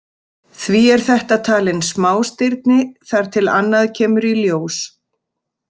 Því er þetta talin smástirni þar til annað kemur í ljós.